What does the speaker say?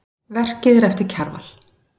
Verkið er eftir Kjarval.